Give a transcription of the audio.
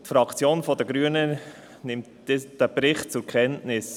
Die Fraktion der Grünen nimmt diesen Bericht zur Kenntnis.